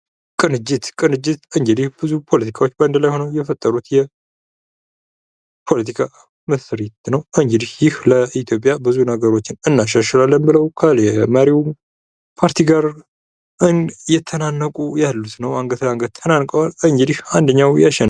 ቅንጅት:-ቅንጅት እንግዲህ ብዙ ፖለቲካዎች በአንድ ላይ ሆነው የፈጠሩት የፖለቲካ ምስሪት ነው። እንግዲህ ይህ ለኢትዮጵያ ብዙ ነገሮችን እናሻሽላለን ብለው ከመሪው ፓርቲ ጋር አየተናነቁ ያሉት ነው። አንገት ላንገት ተናንቀዋል እንግዲህ አንደኛው ያሸንፋል።